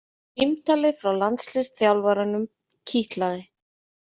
Símtalið frá landsliðsþjálfaranum kitlaði